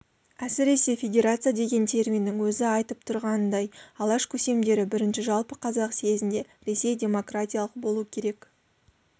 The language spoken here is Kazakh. әсіресе федерация деген терминнің өзі айтып тұрғанындай алаш көсемдері бірінші жалпы қазақ съезінде ресей демократиялық болу керек